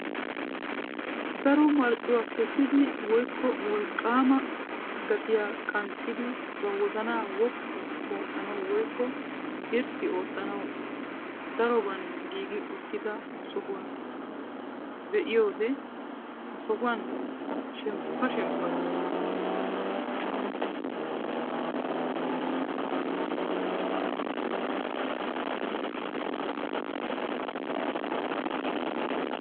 Daro marccuwaa keessidi woykko wolqqaama gaatiyaa qanxxidi ba wozanaa woppu oottanawu woykko irxxi oottanawu daroban giigi uttida sohuwaa be'iyoode ha sohuwaan shemppa shemppa gees.